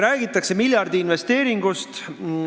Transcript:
Räägitakse miljardiinvesteeringust.